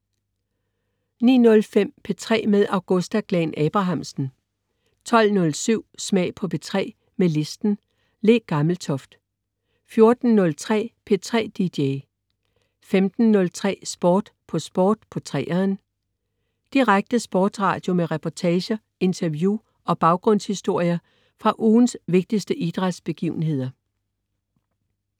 09.05 P3 med Augusta Glahn-Abrahamsen 12.07 Smag på P3 med listen. Le Gammeltoft 14.03 P3 DJ 15.03 Sport på Sport på 3'eren. Direkte sportsradio med reportager, interview og baggrundshistorier fra ugens vigtigste idrætsbegivenheder